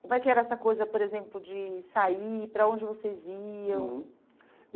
Como é que era essa coisa, por exemplo, de sair, para onde vocês iam? Uhum